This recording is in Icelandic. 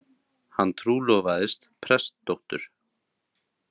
Hann trúlofaðist prestdóttur.